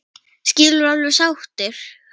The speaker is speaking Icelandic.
Skilduð þið alveg sáttir?